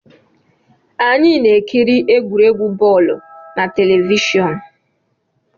Anyị na-ekiri egwuregwu bọọlụ na telivishọn